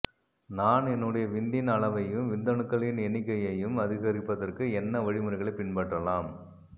நான் என்னுடைய விந்தின் அளவையும் விந்தணுக்களின் எண்ணிக்கையையும் அதிகரிப்பதற்கு என்ன வழிமுறைகளைப் பின்பற்றலாம்